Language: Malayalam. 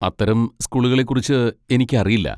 അത്തരം സ്കൂളുകളെക്കുറിച്ച് എനിക്കറിയില്ല.